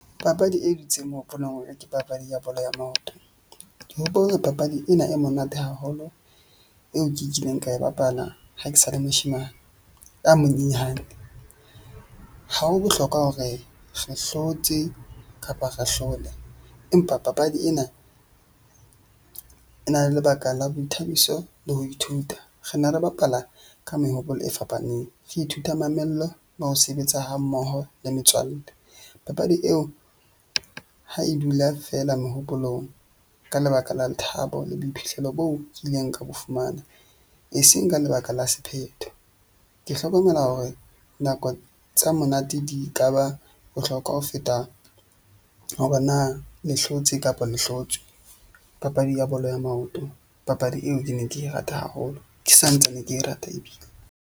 Papadi e dutseng ke papadi ya bolo ya maoto. Ke hopola papadi ena e monate haholo eo ke e kileng ka e bapala ha ke sa le moshemane a monyenyane. Ha ho bohlokwa hore re hlotse kapa ra hlole empa papadi ena e na le lebaka la boithabiso le ho ithuta. Re ne re bapala ka mehopolo e fapaneng, re ithuta mamello le ho sebetsa ha mmoho le metswalle. Papadi eo ha e dula feela mehopolong ka lebaka la lethabo le boiphihlelo bo kileng ka bo fumana, e seng ka lebaka la sephetho. Ke hlokomela hore nako tsa monate di ka ba bohlokwa ho feta, hore na le hlotse kapa le hlotswe. Papadi ya bolo ya maoto. Papadi eo ke neng ke e rata haholo, ke santsane ke e rata ebile.